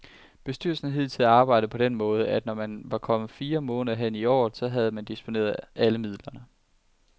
Bestyrelsen har hidtil arbejdet på den måde, at når man var kommet fire måneder hen i året, så havde man disponeret alle midlerne.